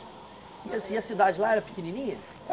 E assim, a cidade lá era pequenininha?